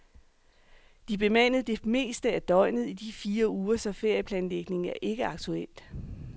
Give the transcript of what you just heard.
De er bemandet det meste af døgnet i de fire uger, så ferieplanlægning er ikke aktuelt.